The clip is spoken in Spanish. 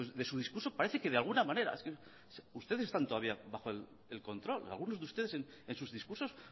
de su discurso parece que de alguna manera ustedes están todavía bajo el control algunos de ustedes en sus discursos